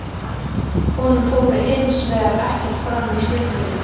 Honum fór hins vegar ekkert fram í skriftinni.